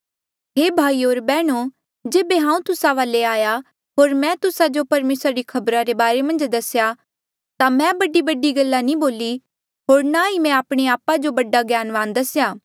हे भाईयो होर बैहणो जेबे हांऊँ तुस्सा वाले आया होर मैं तुस्सा जो परमेसरा री खबरा रे बारे मन्झ दसेया ता मैं बडीबडी गल्ला नी बोली होर ना ही मैं आपणे आपा जो बडा ज्ञानवान दसेया